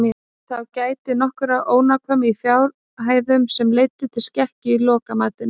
Þá gætti nokkurrar ónákvæmni í fjárhæðum sem leiddu til skekkju í lokamatinu.